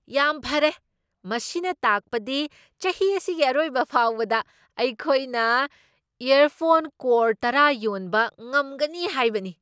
ꯌꯥꯝ ꯐꯔꯦ! ꯃꯁꯤꯅ ꯇꯥꯛꯄꯗꯤ ꯆꯍꯤ ꯑꯁꯤꯒꯤ ꯑꯔꯣꯏꯕ ꯐꯥꯎꯕꯗ ꯑꯩꯈꯣꯏꯅ ꯏꯌꯔꯐꯣꯟ ꯀꯔꯣꯔ ꯇꯔꯥ ꯌꯣꯟꯕ ꯉꯝꯒꯅꯤ ꯍꯥꯏꯕꯅꯤ꯫